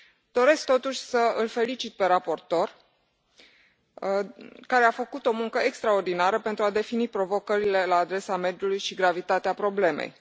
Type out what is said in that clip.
Doresc, totuși, să îl felicit pe raportor, care a făcut o muncă extraordinară pentru a defini provocările la adresa mediului și gravitatea problemei.